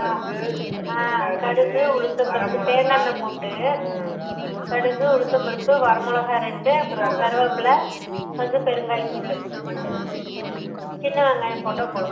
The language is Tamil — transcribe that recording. கடலை பருப்பு அஹ் கடுகு உளுந்து பருப்பு வரமொளக தேங்கா என்ன போட்டு Noise கடுகு உழந்த பருப்பு வரமொளக ரெண்டு அப்பறோ கருவேப்பல கொஞ்சோ பெருங்காய துள் சின்ன வெங்காயம் போட்ட போடலாம்